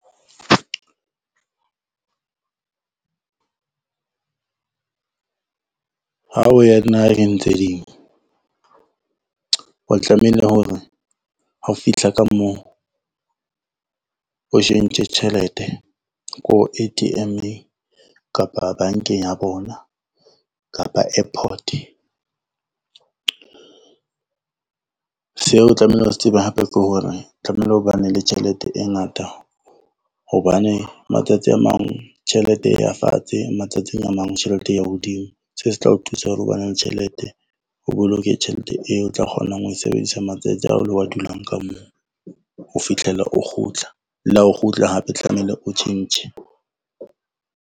Ha o ya naheng tse ding, o tlamehile hore ha o fihla ka moo, o tjhentjhe ko A_T_M-eng kapa bankeng ya bona kapa airport. Se o tlamehile o se tsebe hape ke hore, tlamehile ho bane le tjhelete e ngata, hobane matsatsi a mang tjhelete ya fatshe matsatsing a mang tjhelete ya hodimo, seo se tla o thusa hore o bane le tjhelete o boloke tjhelete eo o tla kgonang ho e sebedisa matsatsi ao lo wa dulang ka moo o fihlela o kgutla, le ha o kgutla hape tlamehile o tjhentjhe.